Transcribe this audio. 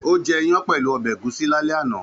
Ó jẹ́ ìyàn pẹ̀lú ọbẹ̀ ẹ̀gúsí lálẹ́ àná